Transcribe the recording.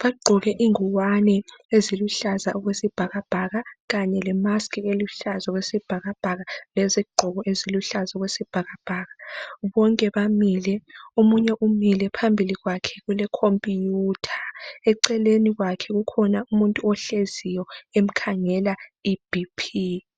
bagqoke ingwane eziluhlaza okwe sibhakabhaka kanye lemaskhi eluhlaza okwesibhakabhaka lezigqoko eziluhlaza okwe sibhakabhaka. Bonke bamile omunye umile phambili kwakhe kule khompiyutha eceleni kwakhe kukhona umuntu ohleziyo emkhangela iBP